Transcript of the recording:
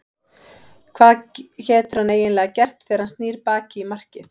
Hvað getur hann eiginlega gert þegar að hann snýr baki í markið?